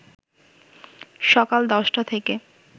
সকাল ১০টা থেকে